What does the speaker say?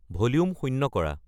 volume শূন্য কৰা